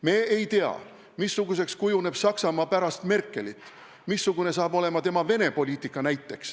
Me ei tea, missuguseks kujuneb Saksamaa pärast Merkelit, missugune saab olema näiteks tema Venemaa-poliitika.